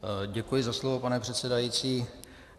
Děkuji za slovo, pane předsedající.